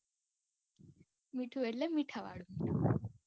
મીઠું એટલે મીઠાવાળું મીઠું.